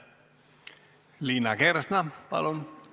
Liina Kersna, palun!